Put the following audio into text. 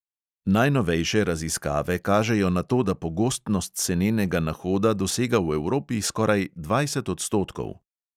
Najnovejše raziskave kažejo na to, da pogostnost senenega nahoda dosega v evropi skoraj dvajset odstotkov.